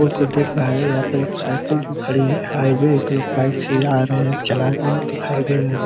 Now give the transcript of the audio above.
पुल को देख रहा है | यहाँ पर एक साईकल खड़ी है | हाईवे एक लोग बाइक से जा रहे हैं चला रहे हैं दिखाई दे रहे हैं।